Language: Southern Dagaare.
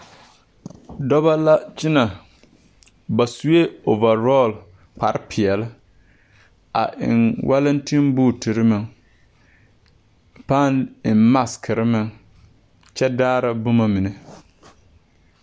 Dɔbɔ la kyɛnɛ ba su la ɔvalɔɔ kparre peɛle a eŋ walantinbootiri meŋ a pãã eŋ masikiri meŋ kyɛ daara boma mine.